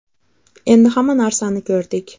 Endi hamma narsani ko‘rdik.